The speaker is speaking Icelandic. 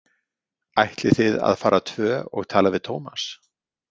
Ætlið þið að fara tvö og tala við Tómas?